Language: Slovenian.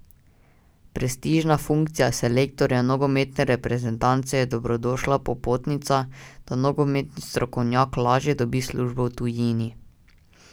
Prestižna funkcija selektorja nogometne reprezentance je dobrodošla popotnica, da nogometni strokovnjak lažje dobi službo v tujini.